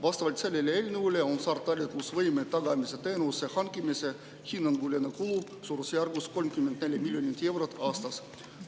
Vastavalt sellele eelnõule on saartalitlusvõime tagamise teenuse hankimise hinnanguline kulu suurusjärgus 34 miljonit eurot aastas.